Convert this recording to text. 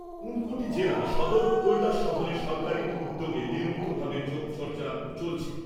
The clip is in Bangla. ঊনকোটি জেলা সদর কৈলাসহরে সরকারী উদ্যোগে নিয়মিতভাবে যোগচর্চা চলছে।